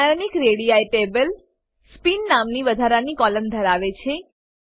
ionic ready table spin નામની વધારાની કોલમ ધરાવે છે